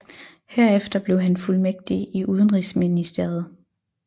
Herefter blev han fuldmægtig i Udenrigsministeriet